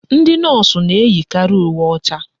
Ndị Nọọsụ na-eyikari uwe ọcha.